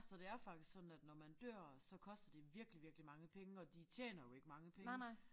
Så det er faktisk sådan at når man dør så koster det virkelig virkelig mange penge og de tjener jo ikke mange penge